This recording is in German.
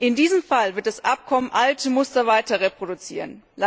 In diesem Fall wird das Abkommen alte Muster weiter reproduzieren.